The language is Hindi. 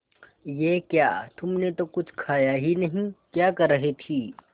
ये क्या तुमने तो कुछ खाया ही नहीं क्या कर रही थी